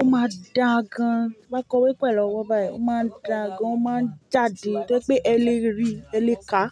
ó máa dàa gan. Ti n bá kọwé pẹ̀lú ọwọ́ báyìí, ó máa n dàa gan, ó máa n jáde to yẹ́ pẹ́ ẹ lèrí ri, ẹ lèká.